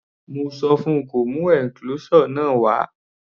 Mo sọ fun kó mú enclosure náà wá.